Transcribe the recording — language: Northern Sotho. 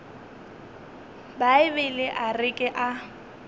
bibele a re ke a